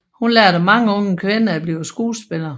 Hun lærte mange unge kvinder at blive skuespillere